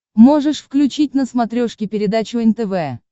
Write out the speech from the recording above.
можешь включить на смотрешке передачу нтв